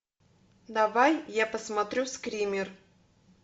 давай я посмотрю скример